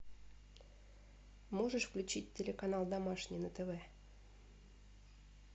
можешь включить телеканал домашний на тв